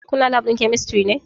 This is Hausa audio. Kuna lab ɗin kemistri ne?